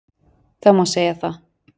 Það má segja það